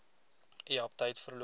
u aptyt verloor